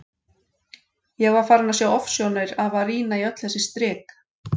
Ég var farin að sjá ofsjónir af að rýna í öll þessi strik.